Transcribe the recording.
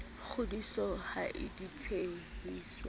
kgodise ha di tshehe tswe